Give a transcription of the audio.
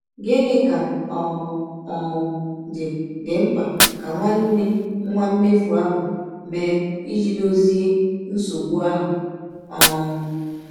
Gịnị ka ọ um dị dị mkpa ka nwanne nwa mmefụ ahụ mee ịjị dọzie nsọgbụ ahụ? um